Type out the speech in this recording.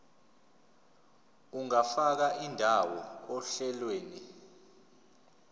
ungafaka indawo ohlelweni